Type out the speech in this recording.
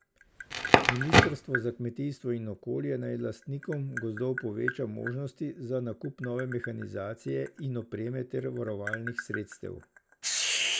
Ministrstvo za kmetijstvo in okolje naj lastnikom gozdov poveča možnosti za nakup nove mehanizacije in opreme ter varovalnih sredstev.